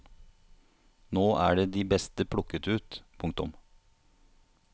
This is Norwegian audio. Nå er de beste plukket ut. punktum